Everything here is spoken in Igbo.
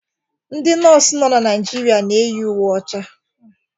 Ndị Nọọsụ nọ na Naijiria na-eyi uwe ọcha.